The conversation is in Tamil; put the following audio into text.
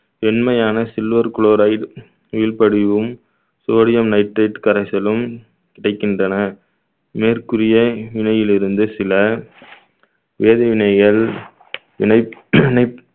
வெண்மையான silver chloride நீள் படிவும் sodium nitrate கரைச்சலும் கிடைக்கின்றன மேற்கூறிய நிலையிலிருந்து சில வேதிவினைகள் வினைப்~ வினைப்~